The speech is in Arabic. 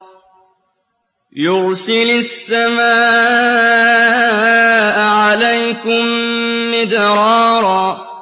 يُرْسِلِ السَّمَاءَ عَلَيْكُم مِّدْرَارًا